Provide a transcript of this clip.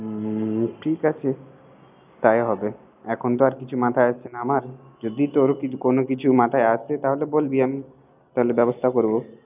হুম ঠিক আছে তাই হবে। এখন তো আর কিছু মাথায় আসছে না আমার। যদি তোর কিছু মাথায় আসে তাহলে বলবি। তাহলে আয়োজন করব।